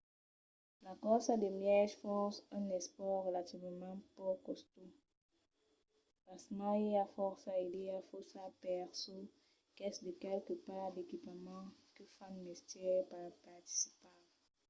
la corsa de mièg fons es un espòrt relativament pauc costós; pasmens i a fòrça idèas faussas per çò qu'es de qualques parts d'equipament que fan mestièr per participar